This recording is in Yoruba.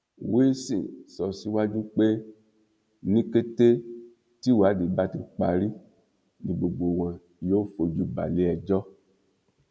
wilson sọ síwájú pé ní kété tíwádìí bá ti parí ni gbogbo wọn yóò fojú balẹẹjọ